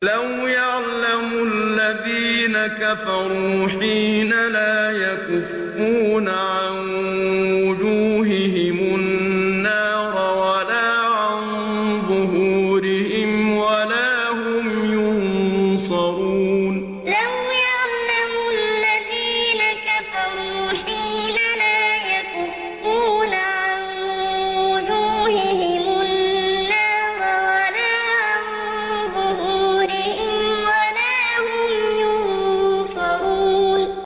لَوْ يَعْلَمُ الَّذِينَ كَفَرُوا حِينَ لَا يَكُفُّونَ عَن وُجُوهِهِمُ النَّارَ وَلَا عَن ظُهُورِهِمْ وَلَا هُمْ يُنصَرُونَ لَوْ يَعْلَمُ الَّذِينَ كَفَرُوا حِينَ لَا يَكُفُّونَ عَن وُجُوهِهِمُ النَّارَ وَلَا عَن ظُهُورِهِمْ وَلَا هُمْ يُنصَرُونَ